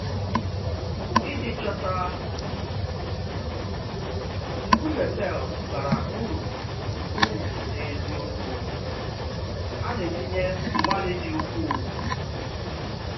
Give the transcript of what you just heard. Iji chọ̀tà nkùmé pè̩l bara ùrú ùrú n’eziokwu, a na-etinye mgbalị́ dị̀ ukwuu.